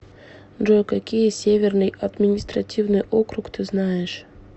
джой какие северный административный округ ты знаешь